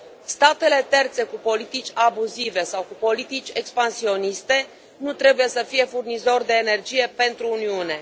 Statele terțe cu politici abuzive sau cu politici expansioniste nu trebuie să fie furnizor de energie pentru Uniune.